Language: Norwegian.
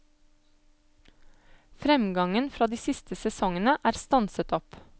Fremgangen fra de siste sesongene er stanset opp.